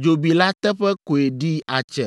dzobi la teƒe koe ɖi atse.